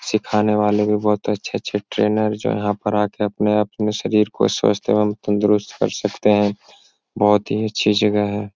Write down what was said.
सिखाने वाले भी बहुत अच्छे-अच्छे ट्रेनर जो हैं यहाँ पर आ के अपने-अपने शरीर को स्वस्थ एवं तंदरुस्त कर सकते हैं। बहुत ही अच्छी जगह है।